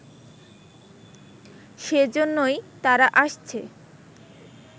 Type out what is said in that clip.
সে জন্যই তারা আসছে